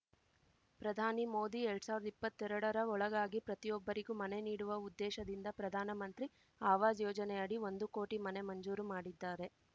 ಪ್ರಧಾನಿ ಮೋದಿ ಎಲ್ಡ್ ಸಾವಿರ್ದಾ ಇಪ್ಪತ್ತೆರಡರ ಒಳಗಾಗಿ ಪ್ರತಿಯೊಬ್ಬರಿಗೂ ಮನೆ ನೀಡುವ ಉದ್ದೇಶದಿಂದ ಪ್ರಧಾನ ಮಂತ್ರಿ ಆವಾಸ್‌ ಯೋಜನೆಯಡಿ ಒಂದು ಕೋಟಿ ಮನೆ ಮಂಜೂರು ಮಾಡಿದ್ದಾರೆ